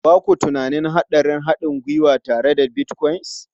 Ba ku tunanin hatsarin haɗin gwiwa tare da Bitcoin?